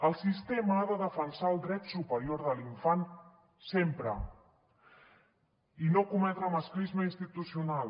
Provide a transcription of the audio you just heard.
el sistema ha de defensar el dret superior de l’infant sempre i no cometre masclisme institucional